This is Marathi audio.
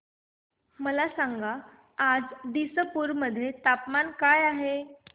मला सांगा आज दिसपूर मध्ये तापमान काय आहे